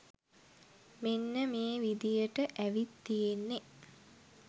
මෙන්න මේ විදියට ඇවිත් තියෙන්නෙ.